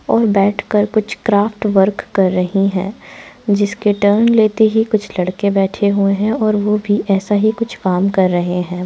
और बैठकर कुछ क्राफ्ट वर्क कर रही है जिसके टर्न लेते ही कुछ लड़के बैठे हुए हैं और वो भी ऐसा ही कुछ काम कर रहे हैं।